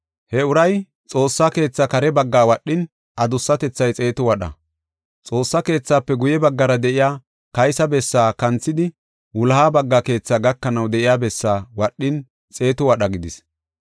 He uray Xoossa keetha kare baggaa wadhin, adusatethay xeetu wadha. Xoossa keethaafe guye baggara de7iya kaysa bessaa kanthidi wuloha bagga keethaa gakanaw de7iya bessaa wadhin xeetu wadha gidis.